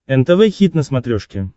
нтв хит на смотрешке